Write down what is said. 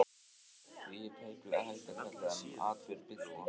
Því er tæplega hægt að kalla þennan atburð byltingu.